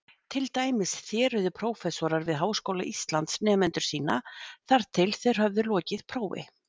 Til dæmis þéruðu prófessorar við Háskóla Íslands nemendur sína þar til þeir höfðu lokið prófi.